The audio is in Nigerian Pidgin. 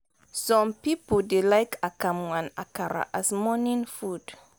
some pipo dey like akamu and akara as morning food